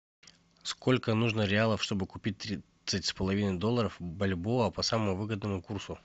сколько нужно реалов чтобы купить тридцать с половиной долларов бальбоа по самому выгодному курсу